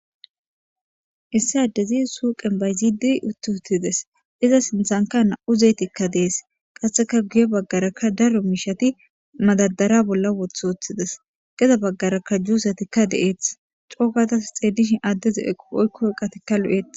issi addezi suuqen bayzidi uttutides iza sinthanka na7u zeetikka dees qasseka guye baggarakka daro miishati madadara bolla wothooththides geda baggarakka juusetikka deeeth coogatas xeedishi addeze eqo oykkoy qatikka lu7et